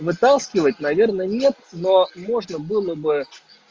вытаскивать наверное нет но можно было бы